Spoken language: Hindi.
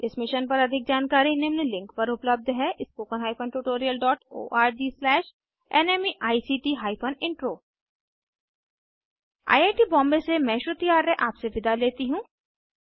इस मिशन पर अधिक जानकारी निम्न लिंक पर उपलब्ध है spoken hyphen tutorial dot org slash NMEICT hyphen intro I I T Bombay से मैं श्रुति आर्य आपसे विदा लेती हूँ